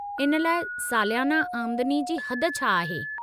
इन लाइ सालियाना आमदनी जी हद छा आहे?